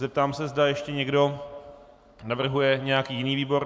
Zeptám se, zda ještě někdo navrhuje nějaký jiný výbor.